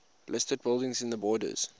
listed buildings in the borders